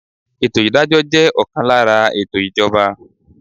Ètò ìdájọ́ jẹ́ ọ̀kan lára ètò ìjọba.